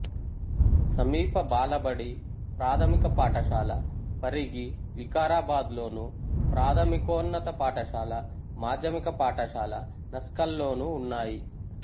సమీప బాలబడి ప్రాథమిక పాఠశాల పరిగి వికారాబాద్లోను ప్రాథమికోన్నత పాఠశాల మాధ్యమిక పాఠశాల నస్కల్లోనూ ఉన్నాయి